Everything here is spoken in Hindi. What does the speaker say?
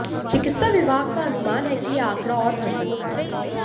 चिकित्सा विभाग का अनुमान है कि यह आंकड़ा और बढ़ सकता है